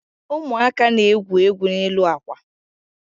Ụmụaka na-egwu egwu n'elu akwa.